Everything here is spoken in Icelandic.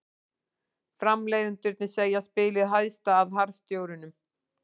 Framleiðendurnir segja spilið hæðast að harðstjórunum